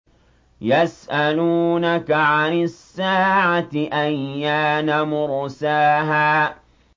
يَسْأَلُونَكَ عَنِ السَّاعَةِ أَيَّانَ مُرْسَاهَا